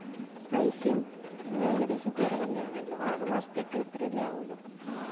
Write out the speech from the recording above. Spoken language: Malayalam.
പൈസേം ഏകദെശം കൊറവെന്നേ ആന്നല്ലോ ആറുമാസത്തേക്ക് ഇത്ര അല്ലെ അവുലു